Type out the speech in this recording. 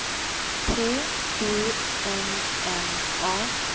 T U N N A